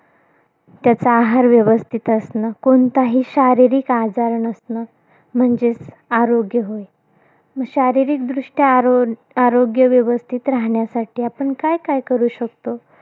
त्याचा आहार व्यवस्थित असणं. कोणताही शारीरिक आजार नसणं, म्हणजेच आरोग्य होय. मग शारीरिकदृष्ट्या आरो आरोग्य व्यवस्थित राहण्यासाठी, आपण काय काय करू शकतो?